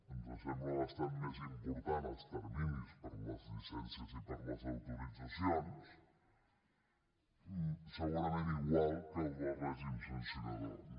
ens sembla bastant més important els terminis per a les llicències i per a les autoritzacions segurament igual que el del règim sancionador no